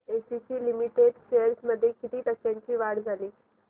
ACC limited shares मध्ये किती टक्क्यांची वाढ झाली